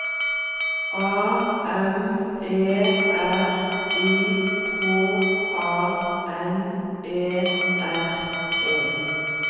A M E R I K A N E R E